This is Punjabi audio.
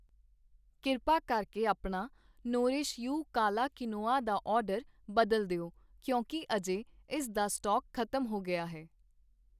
ਕਿਰਪਾ ਕਰਕੇ ਆਪਣਾ ਨੋਰਿਸ਼ ਯੂ ਕਾਲਾ ਕੁਇਨੋਆ ਦਾ ਆਰਡਰ ਬਦਲ ਦਿਓ ਕਿਉਂਕਿ ਅਜੇ ਇਸ ਦਾ ਸਟਾਕ ਖ਼ਤਮ ਹੋ ਗਿਆ ਹੈ